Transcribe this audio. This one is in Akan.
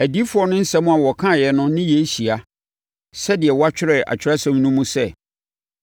Adiyifoɔ no nsɛm a wɔkaeɛ no ne yei hyia, sɛdeɛ wɔatwerɛ Atwerɛsɛm no mu sɛ: